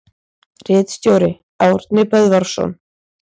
Ritstjóri: Árni Böðvarsson.